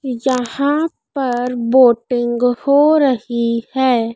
यहां पर बोटिंग हो रही है।